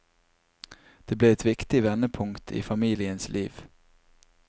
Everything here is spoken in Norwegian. Det ble et viktig vendepunkt i familiens liv.